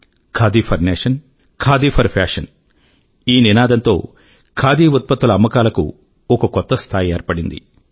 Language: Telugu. khadi for nation khadi for fashion నినాదం తో ఖాదీ ఉత్పత్తుల అమ్మకాల కు ఒక కొత్త స్థాయి ఏర్పడింది